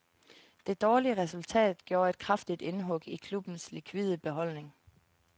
Det dårlige resultat gjorde et kraftigt indhug i klubbens likvide beholdning.